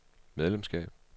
medlemskab